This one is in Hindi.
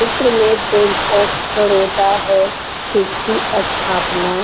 इस चित्र में बैंक ऑफ बरोड़ा है। जिसकी अस्थपाना --